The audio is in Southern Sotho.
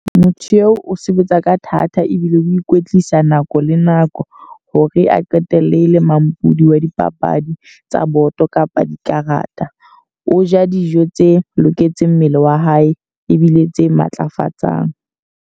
Motho eo o sebetsa ka thata ebile o ikwetlisa nako le nako. Hore a qetelle le mampudi wa dipapadi tsa boto kapa dikarata. O ja dijo tse loketseng mmele wa hae, ebile tse matlafatsang.